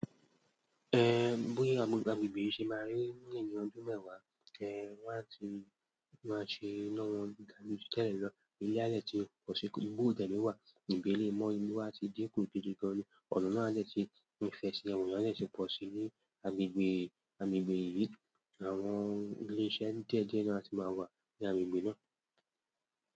Eh, bóyá agbègbè yìí ṣe máa rí ní ẹ̀yìn ọdún mẹ́wàá, ẹh wọ́n á ti, wọ́n á ṣe iná wọn ga jù tẹ́lẹ̀ lọ. Ilé á lè ti pọ̀ sí ibi olùtẹ̀lé wà, ìgbèlé mọ́, ilé wá ti dínkù gidi gan ni. Ọ̀nà náà lè ti ìfẹsẹ̀wọ̀n yẹn lè ti pọ̀ si ní agbègbè, agbègbè yìí. Àwọn ilé iṣẹ́ díẹ̀díẹ̀ náà ti máa wà ní agbègbè náà.